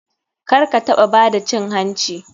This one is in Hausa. Karkataɓa bada cin hanci.